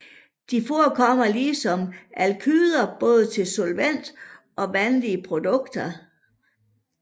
De forekommer ligesom alkyder både til solvent og vandige produkter